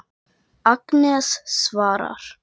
Agnes svarar.